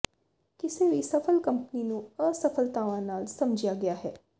ਕਿਸੇ ਵੀ ਸਫਲ ਕੰਪਨੀ ਨੂੰ ਅਸਫਲਤਾਵਾਂ ਨਾਲ ਸਮਝਿਆ ਗਿਆ ਹੈ